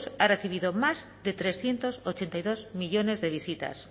ha recibido más de trescientos ochenta y dos millónes de visitas